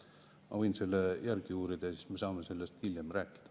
Ma võin selle järgi uurida ja siis me saame sellest hiljem rääkida.